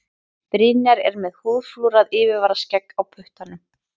Brynjar er með húðflúrað yfirvaraskegg á puttanum.